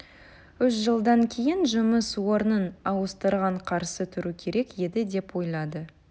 үш жылдан кейін жұмыс орнын ауыстырған қарсы тұру керек еді деп ойлайды